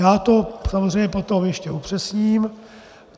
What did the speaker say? Já to samozřejmě potom ještě upřesním.